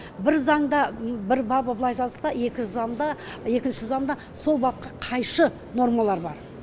бір заңда бір бабы былай жазылса екінші заңда екінші заңда сол бапқа қайшы нормалар бар